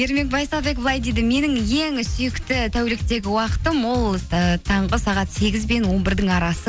ермек байсалбек былай дейді менің ең сүйікті тәуліктегі уақытым ол ііі таңғы сағат сегіз бен он бірдің арасы